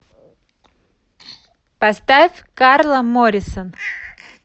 поставь карла моррисон